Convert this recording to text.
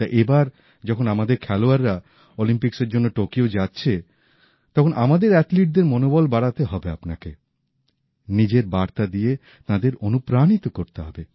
তাই এই বার যখন আমাদের খেলোয়াড়রা অলিম্পিক্সের জন্য টোকিও যাচ্ছে তখন আমাদের অ্যাথলীটদের মনোবল বাড়াতে হবে আপনাকে নিজের বার্তা দিয়ে তাঁদের অনুপ্রাণিত করতে হবে